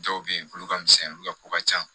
Dɔw bɛ yen olu ka misɛn olu ka ko ka ca